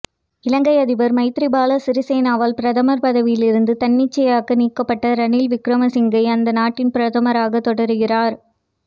இலங்கை அதிபர் மைத்ரிபால சிறீசேனாவால் பிரதமர் பதவியிலிருந்து தன்னிச்சையாக நீக்கப்பட்ட ரணில் விக்ரமசிங்க அந்த நாட்டின் பிரதமராகத் தொடருகிறார்